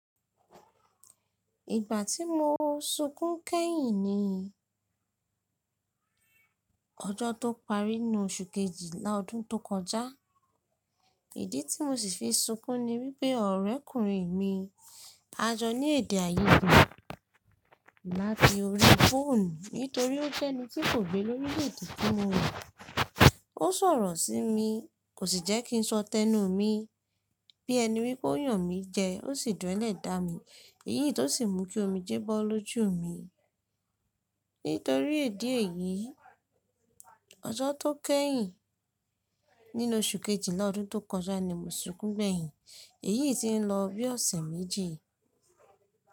Ìgbà tí mo sunkún kẹ́yìn ni ọjọ́ tó parí nínú oṣù kejìlá ọdún tó kọjá. Ìdí tí mo sì fi sunkún ni wípé ọ̀rẹ́kùnrin mi a jọ ní èdèàìyedè láti orí fóònù nítorí ó jẹ́ ẹni tí kò gbé lórílèèdè tí mo wà. Ó sọ̀rọ̀ sí mi, kò sì jẹ́ kí n sọ tẹnu mi bí ẹni wípé ó yàn mí jẹ, ó sì dúnlẹ̀ dá mi, èyí tó sì mú kí omi jẹ́ bọ́ lójú mi. Nítorí èdè è yìí, ọjọ́ tó kẹ́yìn nínú oṣù kejìlá ọdún tó kọjá ni mo sunkún gbẹ̀yìn, èyí tí ń lọ bí ọ̀sẹ̀ méjì.